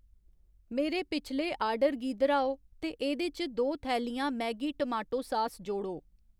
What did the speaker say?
मेरे पिछले आर्डर गी दर्‌हाओ ते एह्‌दे च दो थैलियां मैगी टोमाटो सास जोड़ो।